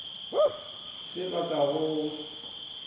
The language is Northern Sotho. se ba go ka go